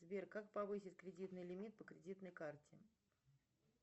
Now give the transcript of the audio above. сбер как повысить кредитный лимит по кредитной карте